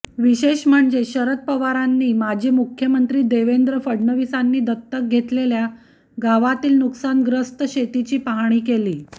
विशेष म्हणजे शरद पवारांनी माजी मुख्यमंत्री देवेंद्र फडणवीसांनी दत्तक घेतलेल्या गावातील नुकसानग्रस्त शेतीची पाहणी केली